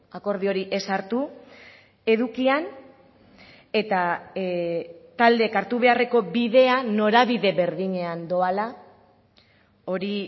akordio hori ez hartu edukian eta taldeek hartu beharreko bidea norabide berdinean doala hori